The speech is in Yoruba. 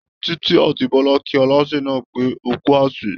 Títí àti Bọlá kí Aláṣẹ náà pé ókú àsè